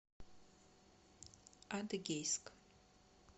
адыгейск